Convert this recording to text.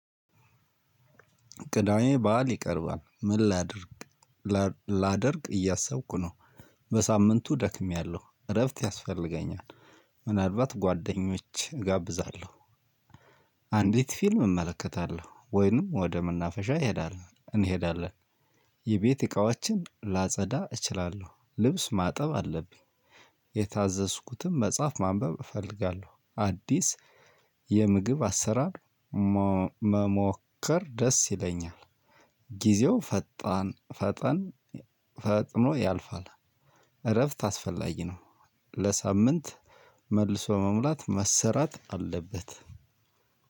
ቅዳሜ በዓል ይቀርባል ምን ላድርግ ላደረግ እያሰብኩ ነው። በሳምንቱ ደክሜያለሁ እረፍት ያስፈልገኛል። ምናልባት ጓደኞቼን እጋብዛለሁ። አንዲት ፊልም እመለከታለሁ ወይንም ወደ መናፈሻ እንሄዳለን እንሄዳለን። የቤት እቃዎችን ላጸዳ እችላለሁ ልብስ ማጠብ አለብኝ። የታዘዝኩትን መጽሐፍ ማንበብ እፈልጋለሁ። አዲስ የምግብ አሰራር መሞከር ደስ ይለኛል። ጊዜው ፈጣን ፈጠን ፈጥኖ ያልፋል። እረፍት አስፈላጊ ነው። ለሳምንት መልሶ መሙላት መሰራት አለበት።